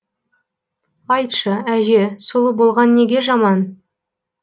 айтшы әже сұлу болған неге жаман